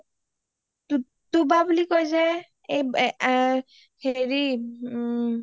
টোটো বা বুলি কয় যে হেৰি ওম